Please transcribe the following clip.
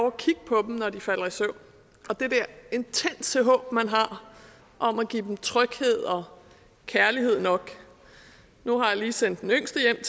at kigge på dem når de falder i søvn og det der intense håb man har om at give dem tryghed og kærlighed nok nu har jeg lige sendt den yngste hjem